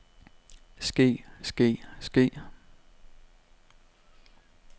ske ske ske